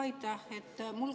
Aitäh!